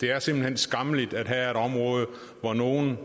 det er simpelt hen skammeligt at have et område hvor nogle